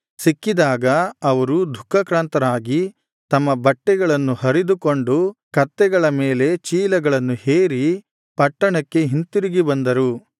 ಸಿಕ್ಕಿದಾಗ ಅವರು ದುಃಖಾಕ್ರಾಂತರಾಗಿ ತಮ್ಮ ಬಟ್ಟೆಗಳನ್ನು ಹರಿದುಕೊಂಡು ಕತ್ತೆಗಳ ಮೇಲೆ ಚೀಲಗಳನ್ನು ಹೇರಿ ಪಟ್ಟಣಕ್ಕೆ ಹಿಂತಿರುಗಿ ಬಂದರು